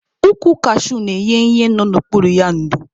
Ukwu kashuu na-enye ihe nọ n'okpuru ya ndo